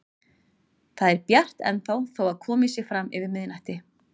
Það er bjart ennþá þó að komið sé fram yfir miðnætti.